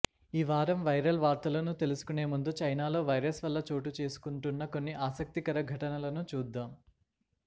ఈ వారం వైరల్ వార్తలను తెలుసుకొనే ముందు చైనాలో వైరస్ వల్ల చోటుచేసుకుంటున్న కొన్ని ఆసక్తికర ఘటనలను చూద్దాం